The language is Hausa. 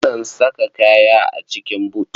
Akan sa kaya a cikin but.